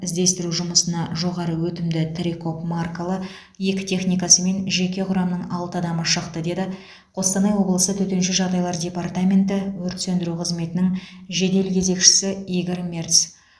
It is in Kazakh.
іздестіру жұмысына жоғары өтімді трекол маркалы екі техникасы мен жеке құрамның алты адамы шықты деді қостанай облысы төтенше жағдайлар департаменті өрт сөндіру қызметінің жедел кезекшісі игорь мерц